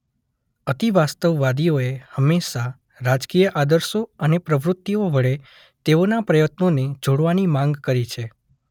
અતિવાસ્તવવાદીઓએ હંમેશા રાજકીય આદર્શો અને પ્રવૃતિઓ વડે તેઓના પ્રયત્નોને જોડવાની માંગ કરી છે.